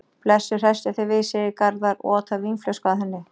Blessuð, hresstu þig við, segir Garðar og otar vínflösku að henni.